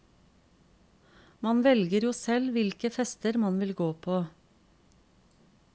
Man velger jo selv hvilke fester man vil gå på.